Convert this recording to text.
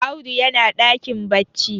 Audu yana dakin bacci